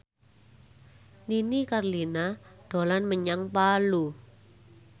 Nini Carlina dolan menyang Palu